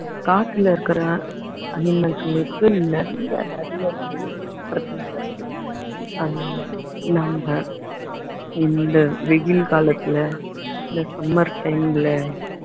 காட்டுல இருக்கிற animals ங்களுக்கு நிறைய நிறைய நிறைய பிரச்சினைங்க இருக்கு அதனால நம்ம இந்த வெயில் காலத்துல இந்த summer time ல